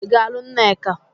Ị ga-alụ nneka?